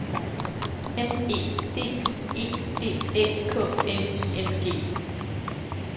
M E D I E D Æ K N I N G